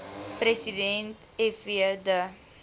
president fw de